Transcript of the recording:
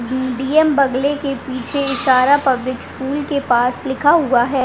DM. बगले के पीछे इशारा पब्लिक स्कूल के पास लिखा हुआ है।